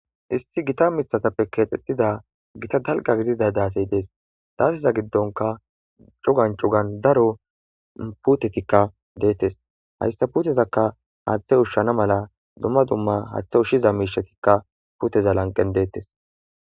isti gita mithatappe keexxettida gita dalga gidida daasey dees daasiza giddonka cugan cugan daro putetikka deettes hayssa putezaka haaththe ushshana mala dumma dumma haaththe ushshiza miishatikka puteza lanqen deettes